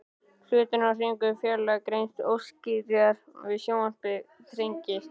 Hlutir á hreyfingu í fjarlægð greinast óskýrar og sjónsviðið þrengist.